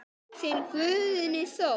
Þinn Guðni Þór.